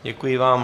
Děkuji vám.